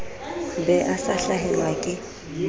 be a sa hlahelwa ke